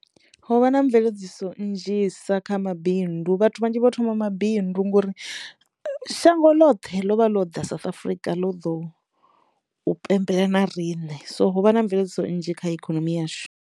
Ho vha na mveledziso nnzhisa kha mabindu vhathu vhanzhi vho thoma mabindu ngori shango ḽoṱhe lovha ḽo ḓa South Africa ḽo ḓo u pembela na riṋe so ho vha na mveledziso nnzhi kha ikonomi yashu.